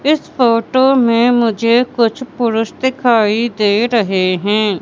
इस फोटो में मुझे कुछ पुरुष दिखाई दे रहे हैं।